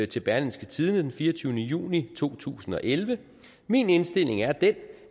til berlingske tidende den fireogtyvende juni 2011 min indstilling er den